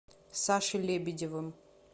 сашей лебедевым